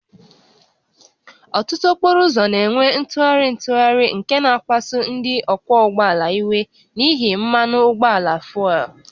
Ọtụtụ okporo ụzọ na-enwe ntụgharị ntụgharị nke na-akpasu ndị ọkwọ ụgbọala iwe n'ihi mmanụ ụgbọala fuel